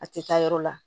A tɛ taa yɔrɔ la